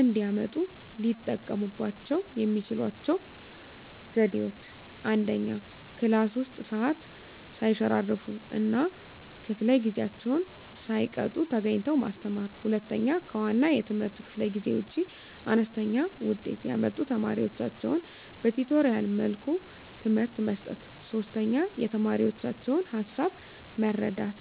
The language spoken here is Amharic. እንዲያመጡ ሊጠቀሙባቸው የሚችሏቸው ዘዴዎች፦ 1, ክላስ ውስጥ ሰዓት ሰይሸራርፍ እና ከፈለ ጊዜአቸውን ሳይቀጡ ተገኝተው ማስተማር። 2, ከዋና የትምህርት ክፍለ ጊዜ ውጭ አነስተኛ ውጤት ያመጡ ተማሪዎቻቸውን በቲቶሪያል መልኩ ትምህርት መስጠት። 3, የተማሪዎቻቸውን ሀሳብ መረዳት